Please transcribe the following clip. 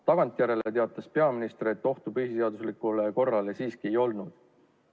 Tagantjärele teatas peaminister, et ohtu põhiseaduslikule korrale siiski ei olnud.